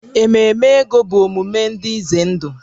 Ememe ego bụ omume dị ize ndụ